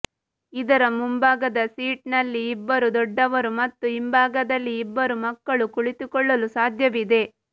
ಇದರ ಮುಂಬಾಗದ ಸೀಟ್ ನಲ್ಲಿ ಇಬ್ಬರು ದೊಡ್ಡವರು ಮತ್ತು ಹಿಂಬಾಗದಲ್ಲಿ ಇಬ್ಬರು ಮಕ್ಕಳು ಕುಳಿತುಕೊಳ್ಳಲು ಸಾಧ್ಯವಿದೆ